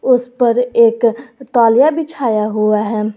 उस पर एक तौलिया बिछाया हुआ है।